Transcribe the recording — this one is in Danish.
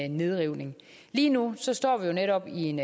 nedrivning lige nu står vi netop i en